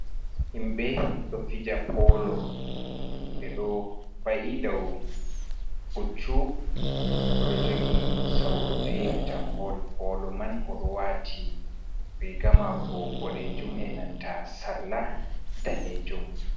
Himɓe ɗo fija polo. Ɓe ɗo wa’i dou puccu, o ɗo jogi sawru firta bol polo man. O ɗo waati riga mako bodeejum e nanta sarla daneejum.